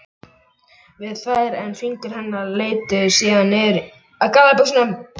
við þær en fingur hennar leituðu síðan niður að gallabuxunum.